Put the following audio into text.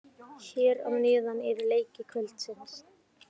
Hér að neðan eru leiki kvöldsins.